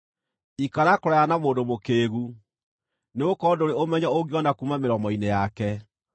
Ikara kũraya na mũndũ mũkĩĩgu, nĩgũkorwo ndũrĩ ũmenyo ũngĩona kuuma mĩromo-inĩ yake.